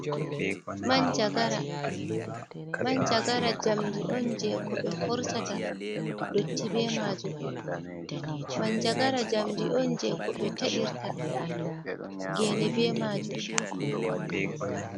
Manjagara. Manjagara jamdi on je ko ɓe horsata dotti be maajum. manjagara jamdi on je ko ɓe ta’irta geene be maajum.